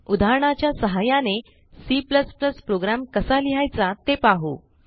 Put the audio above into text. उदाहरणाच्या सहाय्याने C program कसा लिहायचा ते पाहू